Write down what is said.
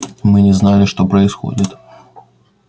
мы не знали что происходит